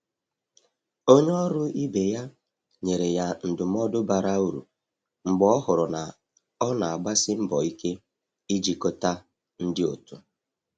Onye ọrụ ibe ya nyere ya ndụmọdụ bara uru mgbe ọ hụrụ na ọ na-agbasi mbọ ike ijikọta ndị otu.